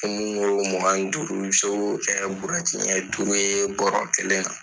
Mun ko mugan ni duuru, i bɛ se ko kɛ buruwɛti ɲɛn duuru ye bɔrɔ kelen na